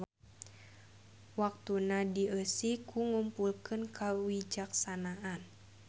Waktuna dieusi ku ngumpulkeun kawijaksanaan.